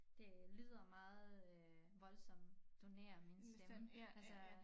Det lyder meget øh voldsomt donere min stemme altså